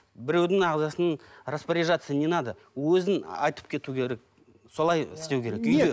біреудің ағзасын распоряжаться ненадо өзін айтып кету керек солай істеу керек үйде